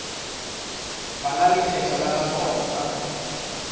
bala lekgetho la nakwana ka